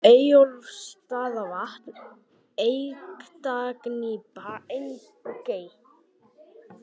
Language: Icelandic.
Eyjaálfa, Eyjólfsstaðavað, Eyktagnípa, Eyngey